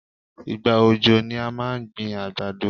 Ìgbà òjò ni à máa ń gbin àgbàdo.